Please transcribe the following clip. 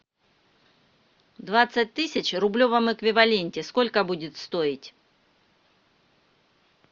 двадцать тысяч в рублевом эквиваленте сколько будет стоить